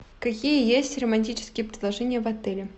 какие есть романтические предложения в отеле